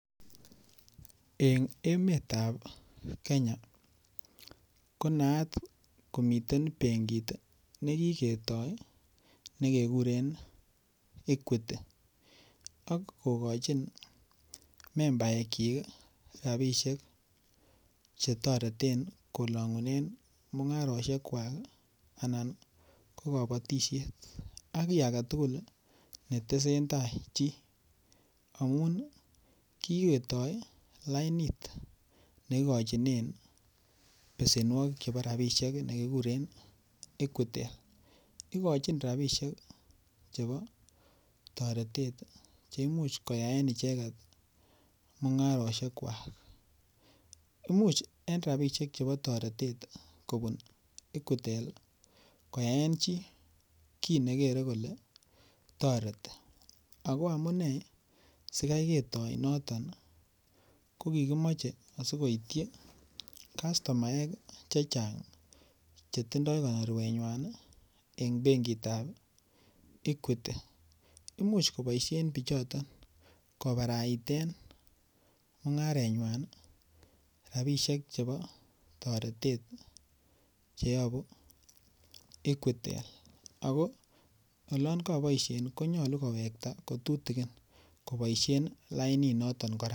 Eng emetab Kenya, konaat komiten benkit ne kiketoi ne kekuren Equity, ak kokochin membaekchik ii rabiisiek che toreten kolangunen mungarosiekwak anan ko kabatisiet ak kiy ake tugul ii ne tesen tai chii, amun ii kiketoi lainit ne kikochinen besenwogik chebo rabiisiek ne kikuren Equitel, ikochin rabiisiek ii chebo toretet ii che imuch koyaen icheket mungarosiekwak, imuch en rabiisiek chebo toretet ii kobun equitel ii, koyaen chii kiy ne kere kole toreti, ako amune sikai ketoi noton ii, ko kikimoche asikoityi kastomaek ii che chang che tindoi konorwenywan ii en benkitab equity, imuch koboisien pichoton kobaraiten mungarenywan ii rabiisiek chebo toretet ii cheyobu equitel, ako olon kaboisien konyolu kowekta kotutikin koboisien ii laininoton kora.